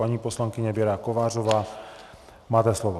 Paní poslankyně Věro Kovářová, máte slovo.